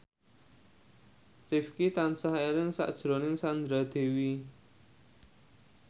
Rifqi tansah eling sakjroning Sandra Dewi